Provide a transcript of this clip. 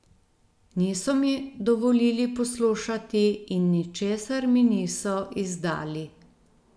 Niso mi dovolili poslušati in ničesar mi niso izdali.